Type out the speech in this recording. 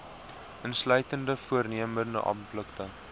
insluitende voornemende applikante